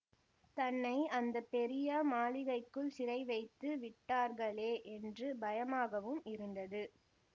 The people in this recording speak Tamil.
தன்னை அந்த பெரிய மாளிகைக்குள் சிறை வைத்து விட்டார்கலே என்று பயமாகவும் இருந்தது